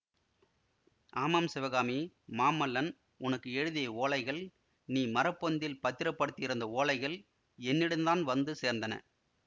ஆமாம் சிவகாமி மாமல்லன் உனக்கு எழுதிய ஓலைகள் நீ மரப்பொந்தில் பத்திரப்படுத்தியிருந்த ஓலைகள் என்னிடந்தான் வந்து சேர்ந்தன